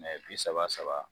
Mɛ bi saba saba